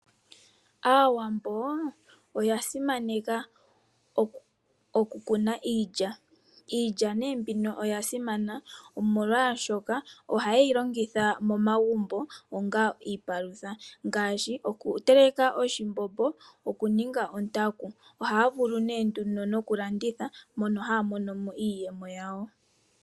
Aawambo oya simaneka oku kuna iilya. Iilya nee mbino oya simana omolwaashoka ohayeyi longitha momagumbo onga iipalutha. Ngaashi oku teleka oshimbombo noku ninga ontaku. Ohaya vulu nee nduno okuyi landitha mono haya mono iiyemo yawo.